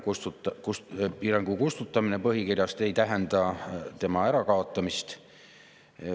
Piirangu kustutamine põhikirjast ei tähenda selle ärakaotamist.